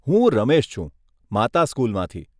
હું રમેશ છું, માતા સ્કુલમાંથી.